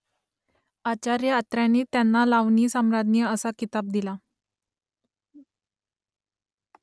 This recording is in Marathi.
आचार्य अत्र्यांनीच त्यांना लावणीसम्राज्ञी असा किताब दिला